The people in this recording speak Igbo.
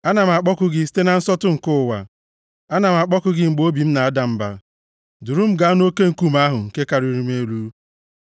Ana m akpọku gị site na nsọtụ nke ụwa, ana m akpọku gị mgbe obi m na-ada mba; duru m gaa nʼoke nkume ahụ nke karịrị m elu.